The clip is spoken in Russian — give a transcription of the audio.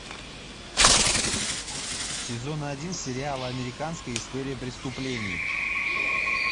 сезон один сериала американская история преступлений